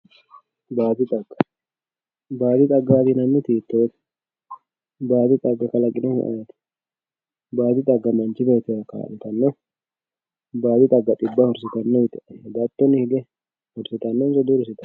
baadi xagga, baadi xaggaati yinanniti hiittoote baadi xagga kalaqinohu ayeeti baadi xagga manchi beettira kaa'litanno? baadi xagga xibba hursitanno yite hedattoni hige hursitannonso dihursitanno.